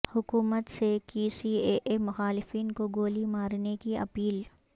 حکومت سے کی سی اے اے مخالفین کو گولی مارنے کی اپیل